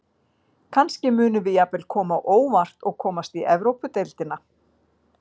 Kannski munum við jafnvel koma á óvart og komast í Evrópudeildina.